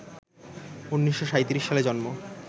১৯৩৭ সালে জন্ম